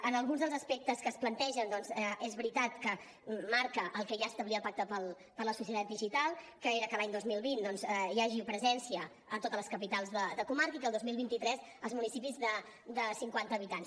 en alguns dels aspectes que es plantegen doncs és veritat que marca el que ja establia el pacte per a la societat digital que era que l’any dos mil vint hi hagi presència a totes les capitals de comarca i que el dos mil vint tres als municipis de cinquanta habitants